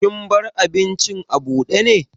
Kin bar abincin abude ne?